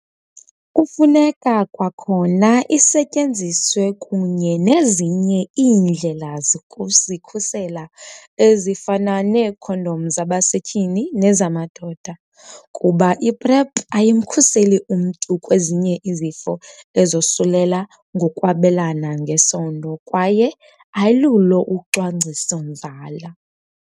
Kufuneka kwakhona isetyenziswe kunye nezinye iindlela zokuzikhusela, ezifana neekhondom zabasetyhini nezamadoda, kuba i-PrEP ayimkhuseli umntu kwezinye izifo ezosulela ngokwabelana ngesondo kwaye ayilulo ucwangciso-nzala.